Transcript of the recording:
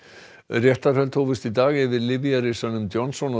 réttarhöld hófust í dag yfir lyfjarisanum Johnson